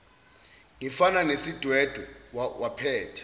ngifana nesidwedwe waphetha